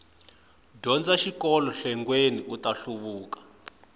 dyondza xikolo khegwani uta hluvuka